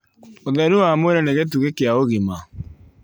Ũtheru wa mwĩrĩ nĩ gĩtugĩ kĩa ũgima